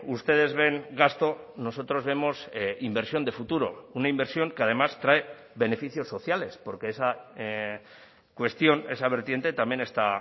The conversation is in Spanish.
ustedes ven gasto nosotros vemos inversión de futuro una inversión que además trae beneficios sociales porque esa cuestión esa vertiente también está